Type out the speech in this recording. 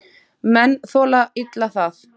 Menn þola illa það.